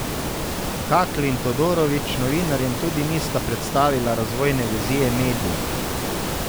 Hakl in Todorović novinarjem tudi nista predstavila razvojne vizije medija.